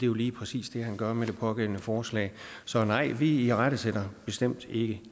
jo lige præcis det han gør med det pågældende forslag så nej vi irettesætter bestemt ikke